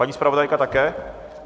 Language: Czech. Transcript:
Paní zpravodajka také?